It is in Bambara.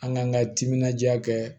An k'an ka timinandiya kɛ